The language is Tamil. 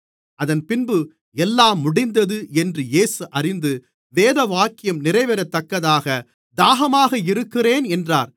அதன்பின்பு எல்லாம் முடிந்தது என்று இயேசு அறிந்து வேதவாக்கியம் நிறைவேறத்தக்கதாக தாகமாக இருக்கிறேன் என்றார்